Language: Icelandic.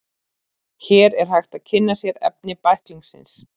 Hér er hægt að kynna sér efni bæklingsins.